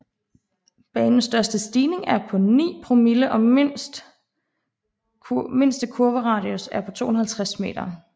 Banens største stigning er på 9 promille og mindste kurveradius er på 250 meter